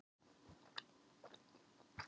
Þetta er töff svona á tveimur hæðum.